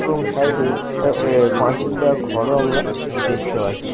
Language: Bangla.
এবং সাইড - এ এ এ পাঁচিল দেওয়া ঘর ও আমরা দেখতে পাচ্ছি।